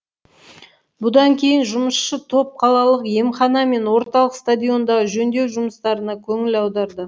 бұдан кейін жұмысшы топ қалалық емхана мен орталық стадиондағы жөндеу жұмыстарына көңіл аударды